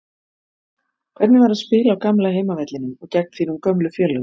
Hvernig var að spila á gamla heimavellinum og gegn þínum gömlu félögum?